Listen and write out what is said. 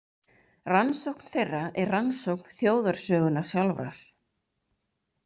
Rannsókn þeirra er rannsókn þjóðarsögunnar sjálfrar.